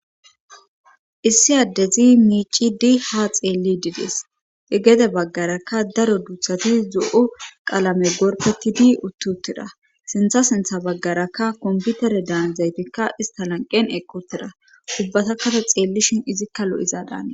Issi addezi miicidi ha xeelli dides egede baggarakka daro duuthati zo7o qalame gorpetidi uttutira sintha sintha baggarakka komputere daanzaytikka ista lanqen ekotira ubbatakkate xeellishin izikka lo7izadan